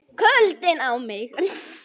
KULDINN á mig.